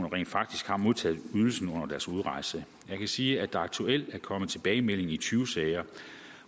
rent faktisk har modtaget ydelsen under deres udrejse jeg kan sige at der aktuelt er kommet tilbagemelding i tyve sager